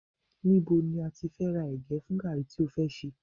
Níbo ni o ti fẹ́ ra ẹ̀gẹ́ fún gààrí tí ó fẹ́ ṣe